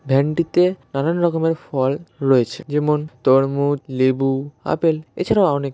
van -টিতে নানান রকমের ফল রয়েছে যেমন তরমুজ লেবু আপেল এছাড়াও অনেক --